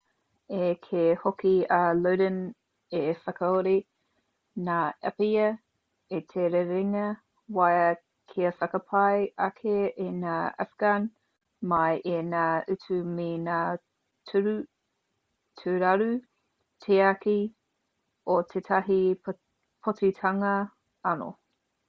i kī hoki a lodin i whakakore ngā āpiha i te rerenga wai kia whakapai ake i ngā afghan mai i ngā utu me ngā tūraru tiaki o tētahi pōtitanga anō